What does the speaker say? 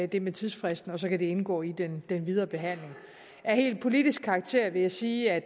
det med tidsfristen og så kan det indgå i den videre behandling af helt politisk karakter vil jeg sige at